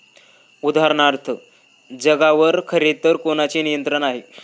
उदाहरणार्थ, जगावर खरेतर कोणाचे नियंत्रण आहे?